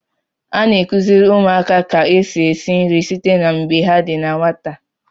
A na-akụziri ụmụaka ka esi esi nri site na mgbe ha di na nwata.